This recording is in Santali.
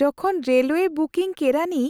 ᱡᱚᱠᱷᱚᱱ ᱨᱮᱞᱚᱣᱮ ᱵᱩᱠᱤᱝ ᱠᱮᱨᱟᱱᱤ